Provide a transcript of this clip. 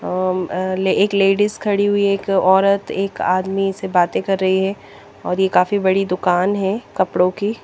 ओम एक लेडिज खड़ी हुई एक औरत एक आदमी से बातें कर रही है और यह काफी बड़ी दुकान है कपड़ों की।